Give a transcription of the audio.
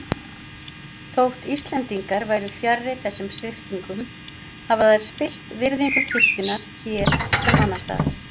Þótt Íslendingar væru fjarri þessum sviptingum hafa þær spillt virðingu kirkjunnar hér sem annars staðar.